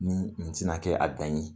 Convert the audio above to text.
Ni nin tɛna kɛ a dan ye.